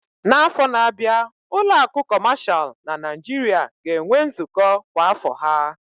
N'afọ na-abịa, ụlọ akụ kọmashal na Nigeria ga-enwe nzukọ kwa afọ ha